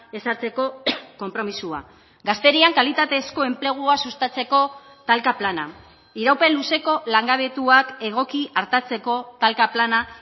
ezartzeko konpromisoa gazterian kalitatezko enplegua sustatzeko talka plana iraupen luzeko langabetuak egoki artatzeko talka plana